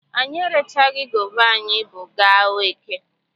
Anyị erechaghị gova anyị bu gaa eke.